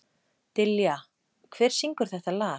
Dilja, hver syngur þetta lag?